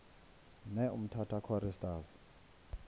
ne umtata choristers